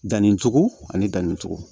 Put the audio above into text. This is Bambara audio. Danni cogo ani danni cogo